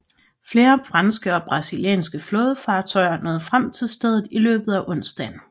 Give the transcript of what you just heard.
Flere franske og brasilianske flådefartøjer nåede frem til stedet i løbet af onsdagen